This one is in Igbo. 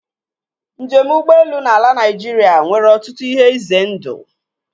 Njem ụgbọelu na ala Naịjirịa nwere ọtụtụ ihe ize ndụ.